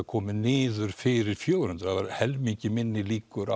komin niður fyrir fjögur hundruð það voru helmingi minni líkur